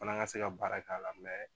Fana ka se ka baara k'a la